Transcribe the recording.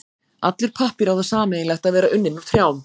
Allur pappír á það sameiginlegt að vera unninn úr trjám.